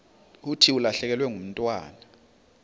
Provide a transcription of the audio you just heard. thi ulahlekelwe ngumntwana